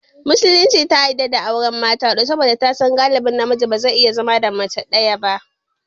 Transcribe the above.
Musulunci ta yadda a auri mata huɗu saboda ta san galittan namiji ne bazai iya zama da mace ɗaya ba